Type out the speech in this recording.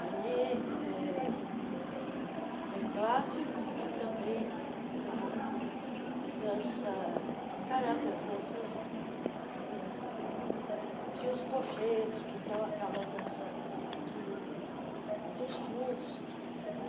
Aí eh é clássico e também ãh a dança caráter, as danças ãh tinha os cocheiros, que então aquela dança do dos russos.